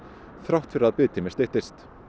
þrátt fyrir að biðtími styttist